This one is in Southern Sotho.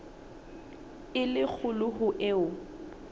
e le kgolo ho eo